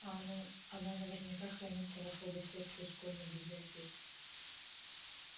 а она она наверняка хранится в особой секции школьной библиотеки